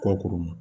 Kɔkɔ ma